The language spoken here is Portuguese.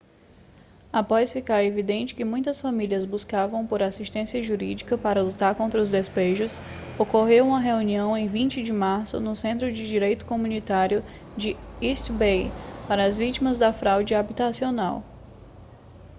após ficar evidente que muitas famílias buscavam por assistência jurídica para lutar contra os despejos ocorreu uma reunião em 20 de março no centro de direito comunitário de east bay para as vítimas da fraude habitacional